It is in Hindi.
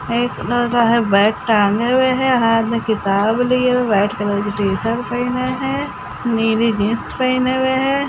एक लड़का है बैग टाँगे हुए है हाथ में किताब लिए हुए है वाइट कलर की टीशर्ट पहने है नीली जीन्स पहने हुए हैं।